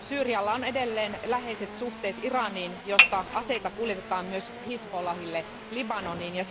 Syyrialla on edelleen läheiset suhteet Iraniin, josta aseita kuljetetaan myös Hizbollahille Libanoniin.